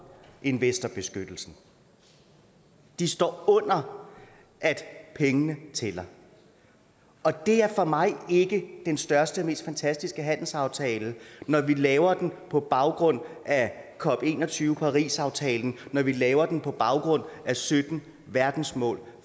investorbeskyttelsen de står under at pengene tæller og det er for mig ikke den største og mest fantastiske handelsaftale når vi laver den på baggrund af cop21 parisaftalen når vi laver den på baggrund af sytten verdensmål